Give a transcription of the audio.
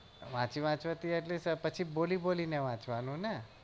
વાચીવાચવા થી પછી બોલી બોલી ને વાચવા નું ને